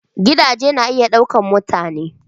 Gidaje na iya ɗaukar mutane.